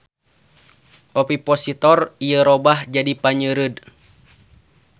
Ovipositor ieu robah jadi panyeureud.